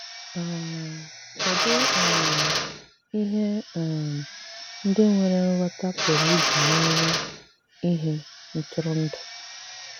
um Kedụ um ihe um ndị nwere nghọta pụrụ iji mere ihe ntụrụndụ?